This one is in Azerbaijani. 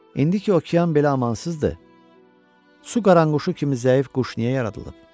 İndi ki okean belə amansızdır, su qaranquşu kimi zəif quş niyə yaradılıb?